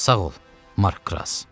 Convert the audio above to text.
Sağ ol, Mark Kras.